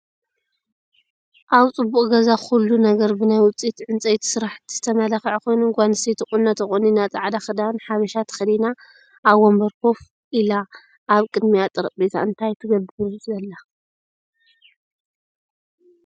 ኣብ ፅቡቕ ገዛ ኩሉ ነገሩ ብናይ ውፅኢት እንፀይቲ ስራሕቲ ዝተመላኸዓ ኾይኑ ፡ጓል ኣነስተይቲ ቑኖ ተቖኒና ፃዕዳ ኽዳን ሓበሻ ተኸዲና ኣብ ወንበር ከፍ ኢላ ኣብ ቕድሚኣ ጠረጴዛ እንታይ ትገብር ዘላ ትመስል ?